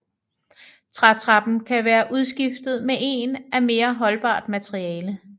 Trætrappen kan være udskiftet med en af mere holdbart materiale